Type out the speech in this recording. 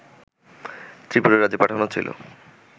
ত্রিপুরা রাজ্যে পাঠানো হচ্ছিল